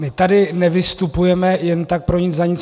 My tady nevystupujeme jen tak pro nic za nic.